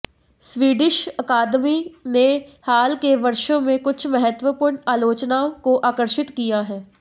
Swedish अकादमी ने हाल के वर्षों में कुछ महत्वपूर्ण आलोचनाओं को आकर्षित किया है